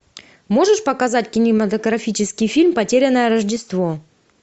можешь показать кинематографический фильм потерянное рождество